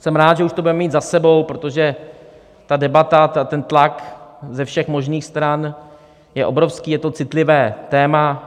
Jsem rád, že už to budeme mít za sebou, protože ta debata, ten tlak ze všech možných stran je obrovský, je to citlivé téma.